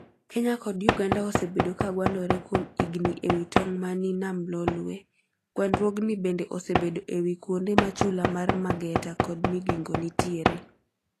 Kenya kod Uganda osebedo ka gwandore kuom higni e wi tong mani nam Lolwe. Gwanrwogni bende osebedo ewi kuonde ma chula mar Mageta kod Migingo nitiere.